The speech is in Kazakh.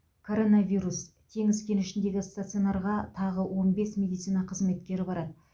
коронавирус теңіз кенішіндегі стационарға тағы он бес медицина қызметкері барады